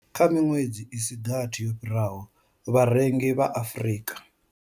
Kha miṅwedzi i si gathi yo fhiraho, vharengi vha Afrika.